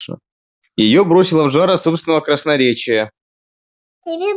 его бросило в жар от собственного красноречия